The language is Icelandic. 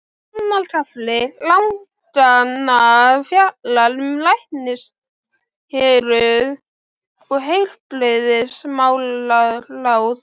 Annar kafli laganna fjallar um læknishéruð og heilbrigðismálaráð.